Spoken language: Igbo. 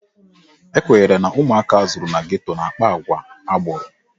Ekwenyere na ụmụaka azụrụ na geto na-akpa àgwà agboro.